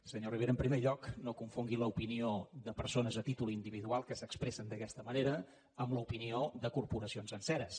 senyor rivera en primer lloc no confongui l’opinió de persones a títol individual que s’expressen d’aquesta manera amb l’opinió de corporacions senceres